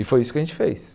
E foi isso que a gente fez.